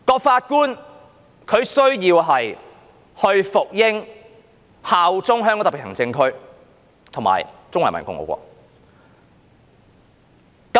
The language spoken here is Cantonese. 法官需要服膺、效忠香港特別行政區及中華人民共和國。